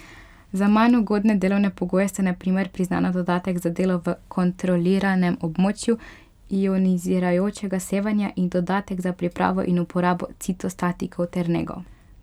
Za manj ugodne delovne pogoje sta na primer priznana dodatek za delo v kontroliranem območju ionizirajočega sevanja in dodatek za pripravo in uporabo citostatikov ter nego.